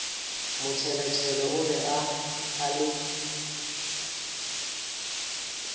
motšheletšhele o be a le